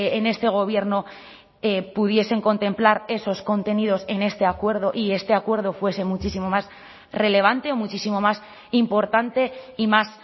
en este gobierno pudiesen contemplar esos contenidos en este acuerdo y este acuerdo fuese muchísimo más relevante o muchísimo más importante y más